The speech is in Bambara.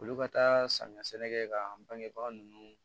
Olu ka taa samiya sɛnɛ kɛ ka ban baga ninnu